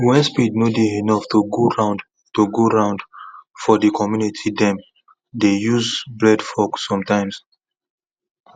when spade nor dey enough to go round to go round for the community them dey use broadfork sometimes